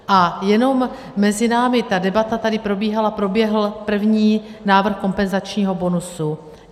A jenom mezi námi, ta debata tady probíhala, proběhl první návrh kompenzačního bonusu.